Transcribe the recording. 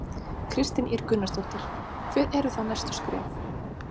Kristín Ýr Gunnarsdóttir: Hver eru þá næstu skref?